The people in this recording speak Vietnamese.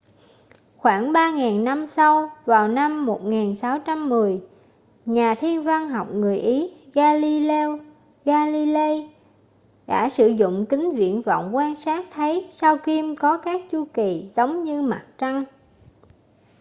khoảng ba ngàn năm sau vào năm 1610 nhà thiên văn học người ý galileo galilei đã sử dụng kính viễn vọng quan sát thấy sao kim có các chu kỳ giống như mặt trăng